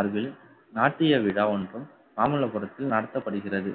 அருகில் நாட்டிய விழா ஒன்றும் மாமல்லபுரத்தில் நடத்தப்படுகிறது